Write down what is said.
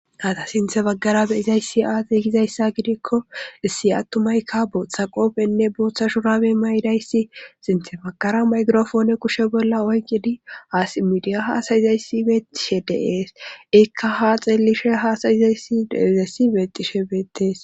ata sinthe baggara beizayssi aatey gizayssa gidikko issi attumayka booththa qoofenne booththa shurabe may7dayssi sinthe baggara maykrofoone kushe bolla oyqidi asimidiya haasayizayssi beexishe deees ikka ha xeellishe haasayizayssi deizayssi beexishe beettees